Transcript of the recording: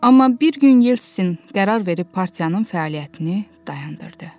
Amma bir gün Yeltsin qərar verib partiyanın fəaliyyətini dayandırdı.